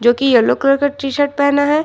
जो कि yellow colour का टी शर्ट पहना है।